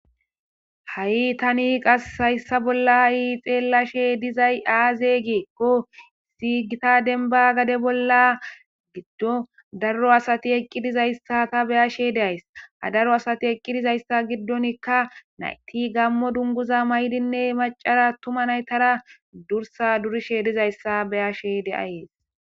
ha7i tani qas hayssa bolla ha7i xeellashe dizay aaze gieqqo sigita denba gade bolla giddo daro asati eqqidizayssa ta beyashe deays ha daro asati eqqidizayssa giddonikka nayti gammo dunguza maydinne macara tuma naytara dursa durishe dizayssa beyashe de'ayees